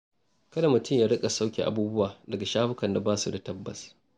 Kada mutum ya riƙa sauƙe abubuwa daga shafukan da ba su da tabbas.